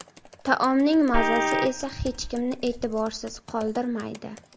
Taomning mazasi esa hech kimni e’tiborsiz qoldirmaydi”.